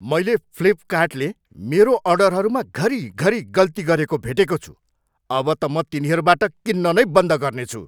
मैले फ्लिपकार्टले मेरो अर्डरहरूमा घरिघरि गल्ती गरेको भेटेको छु अब त म तिनीहरूबाट किन्न नै बन्द गर्नेछु।